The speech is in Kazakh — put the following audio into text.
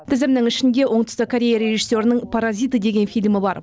тізімнің ішінде оңтүстік корея режиссерінің паразиты деген фильмі бар